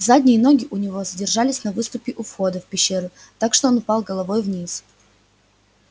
задние ноги у него задержались на выступе у входа в пещеру так что он упал головой вниз